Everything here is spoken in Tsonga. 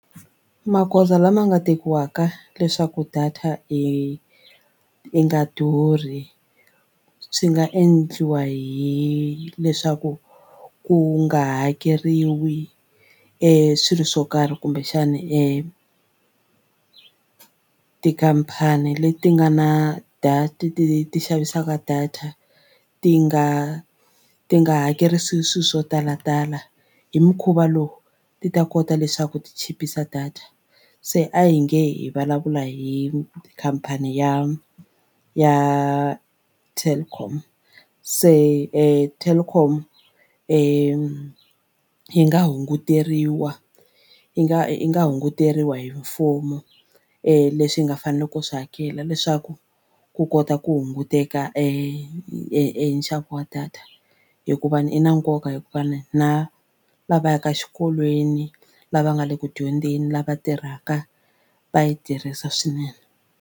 Magoza lama nga tekiwaka leswaku data i i nga durhi swi nga endliwa hileswaku ku nga hakeriwi e swilo swo karhi kumbexana e tikhampani leti nga na data ti ti ti xavisaka data ti nga ti nga hakerisi swilo swo talatala hi mukhuva lowu ti ta kota leswaku ti chipisa data. Se a hi nge hi vulavula hi khampani ya ya telkom se Telkom yi nga hunguteriwa yi nga yi nga hunguteriwa hi mfumo leswi yi nga faneleke ku swi hakela leswaku ku kota ku hunguteka e nxavo wa data hikuva i na nkoka hikuva na na lava yaka xikolweni lava nga le ku dyondzeni lava tirhaka va yi tirhisa swinene.